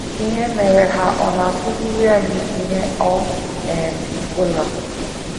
Ihe mere ha ọ̀ na - akụziri anyị ihe ọ um bụla?